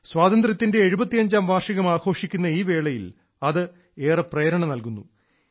സ്വാതന്ത്ര്യത്തിന്റെ എഴുപത്തിയഞ്ചാം വാർഷികം ആഘോഷിക്കുന്ന ഈ വേളയിൽ അത് ഏറെ പ്രേരണ നൽകുന്നു